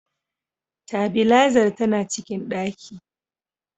Tabilazar tana cikin ɗaki.